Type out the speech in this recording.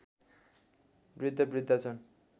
वृद्धवृद्धा छन्